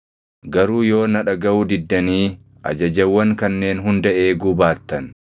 “ ‘Garuu yoo na dhagaʼuu diddanii ajajawwan kanneen hunda eeguu baattan,